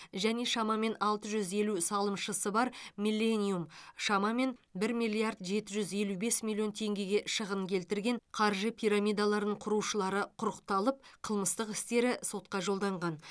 және шамамен алты жүз елу салымшысы бар миллениум шамамен бір миллиард жеті жүз елу бес миллион тенгеге шығын келтірген қаржы пирамидаларын құрушылары құрықталып қылмыстық істері сотқа жолданған